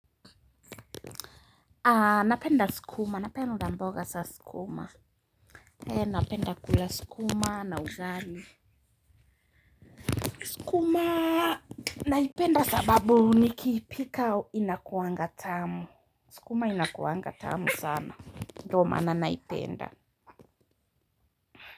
Napenda sukuma. Napenda mboga za sukuma. Napenda kula sukuma na ugali. Sukuma naipenda sababu nikiipika inakuaga tamu. Skuma inakuangatamu sana. Ndo maana naipenda.